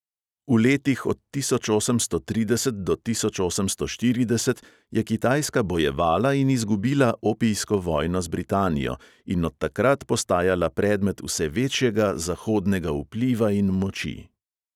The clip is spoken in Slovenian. V letih od tisoč osemsto trideset do tisoč osemsto štirideset je kitajska bojevala in izgubila opijsko vojno z britanijo in od takrat postajala predmet vse večjega zahodnega vpliva in moči.